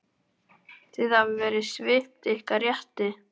Þið hafið verið svipt ykkar rétti.